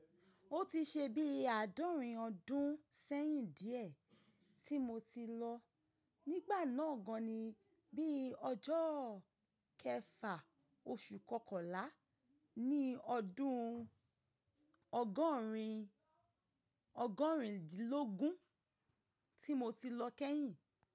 Ó ti ṣe bí àádọ́rin ọdún sẹ́yìn díẹ̀ tí mo ti lọ. Nígbà náà gan ni bí ọjọ́ kẹfà oṣù kọkànlá ni ọdún ọgọ́rin ọgọ́rindinlógún tí mo ti lọ kẹ́yìn.